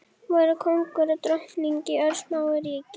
Voru kóngur og drottning í örsmáu ríki.